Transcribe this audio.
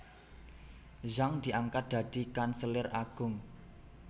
Zhang diangkat dadi kanselir agung